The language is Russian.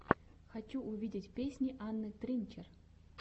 хочу увидеть песни анны тринчер